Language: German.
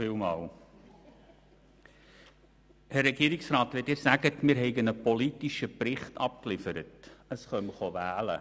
Herr Regierungsrat, Sie sagen, wir hätten einen politischen Bericht abgegeben wegen der Wahlen.